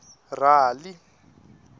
rali